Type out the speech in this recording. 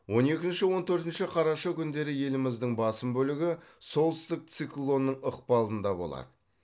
он екінші он төртінші қараша күндері еліміздің басым бөлігі солтүстік циклонның ықпалында болады